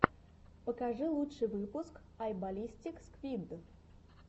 покажи лучший выпуск ай баллистик сквид